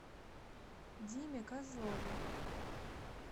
диме козлове